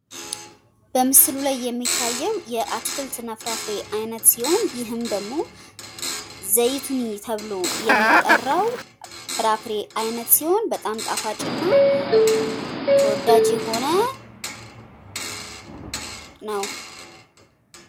በምስሉ ላይ የሚታየው የአትክልት እና ፍርፍሬ አይነት ሲሆን ይህም ደግሞ ዘይቱኒ ተብሎ ሚጠራው የፍራፍሬ አይነት ሲሆን በጣም ጣፋጭ እና ተወውዳጅ የሆነ ነው።